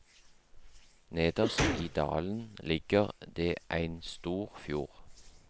Nederst i dalen ligg det ein stor fjord.